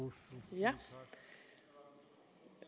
jeg